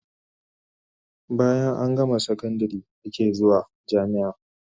Bayan an gama sakandare ake zuwan sakandari